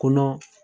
Kɔnɔ